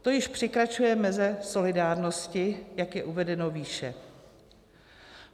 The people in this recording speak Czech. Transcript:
To již překračuje meze solidárnosti, jak je uvedeno výše.